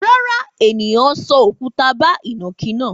Rárá, ènìyàn sọ òkúta bá ìnàkí náà.